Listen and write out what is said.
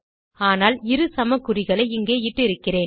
ஆனால் இரு சமக்குறிகளை இங்கே இட்டிருக்கிறேன்